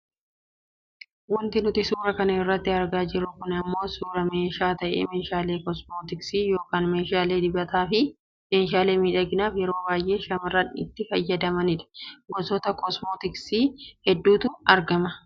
Wanti nuti suuraa kana irratti argaa jirru kun ammoo suuraa meeshaa ta'ee meeshaalee kosmootiksii yookaan meeshaa dibataa fi meeshaalee miidhaginaaf yeroo baayyee shamarran itti fayyadamanidha . Gosoota kosmootiksiii hedduutu argama.